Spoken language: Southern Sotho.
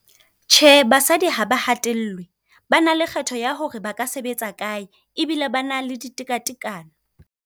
Tjhe, basadi ha ba hatellwe. Ba na le kgetho ya hore ba ka sebetsa kae ebile ba na le ditekatekano.